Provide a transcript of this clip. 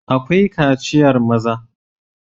Akwai kaciyar maza..